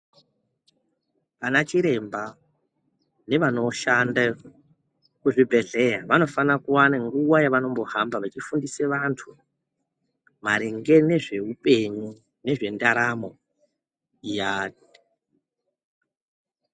Anachiremba nevanoshande kuzvibhedhleya vanofana kuwana nguva yavanombofamba veifundise vantu maringe nezveupenyu, ngezvendaramo iyani.